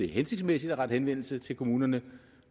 hensigtsmæssigt at rette henvendelse til kommunerne